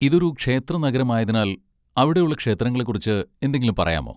ഇതൊരു ക്ഷേത്രനഗരമായതിനാൽ അവിടെയുള്ള ക്ഷേത്രങ്ങളെക്കുറിച്ച് എന്തെങ്കിലും പറയാമോ?